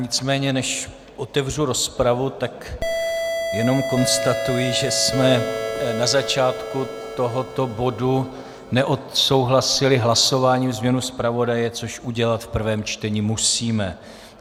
Nicméně než otevřu rozpravu, tak jenom konstatuji, že jsme na začátku tohoto bodu neodsouhlasili hlasováním změnu zpravodaje, což udělat v prvém čtení musíme.